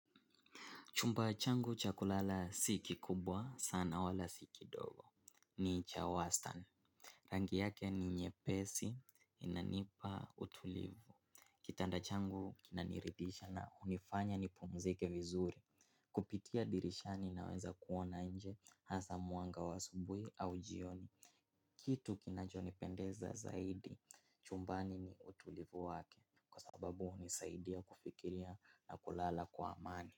Chumba changu cha kulala si kikubwa sana wala si kidogo. Ni chawastan. Rangi yake ni nyepesi, inanipa utulivu. Kitanda changu kinaniridhisha na hunifanya nipumzike vizuri. Kupitia dirishani naweza kuona nje, hasa mwanga wa asubuhi au jioni. Kitu kinachonipendeza zaidi chumbani ni utulivu wake. Sababu unisaidia kufikiria na kulala kwa amani.